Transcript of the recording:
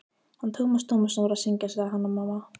Hann Tómas Tómasson var að syngja, sagði Hanna-Mamma.